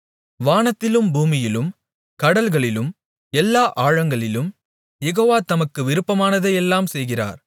வானத்திலும் பூமியிலும் கடல்களிலும் எல்லா ஆழங்களிலும் யெகோவா தமக்கு விருப்பமானதையெல்லாம் செய்கிறார்